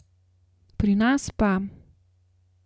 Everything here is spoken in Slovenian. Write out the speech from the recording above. Pri nas pa ...